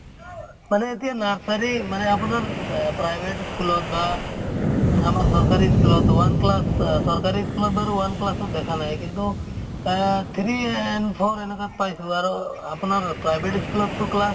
মানে এতিয়া nursery মানে আপোনাৰ এহ private school অত বা আমাৰ চৰকাৰী school তো one class আহ চৰকাৰী school ত বাৰু one class অত দেখা নাই কিন্তু আহ three and four এনকাত পাইছো আৰু আপোনাৰ private school অত তো class